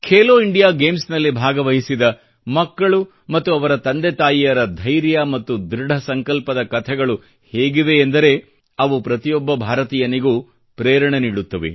Khelo India ಗೇಮ್ಸ್ನಲ್ಲಿ ಭಾಗವಹಿಸಿದ ಮಕ್ಕಳು ಮತ್ತು ಅವರ ತಂದೆ ತಾಯಿಯರ ಧೈರ್ಯ ಮತ್ತು ಧೃಢ ಸಂಕಲ್ಪದ ಕಥೆಗಳು ಹೇಗಿವೆ ಎಂದರೆ ಅವು ಪ್ರತಿಯೊಬ್ಬ ಭಾರತೀಯನಿಗೂ ಪ್ರೇರಣೆ ನೀಡುತ್ತವೆ